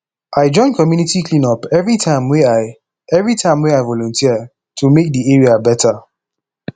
i join community clean up everytime wey i everytime wey i volunteer to make di area better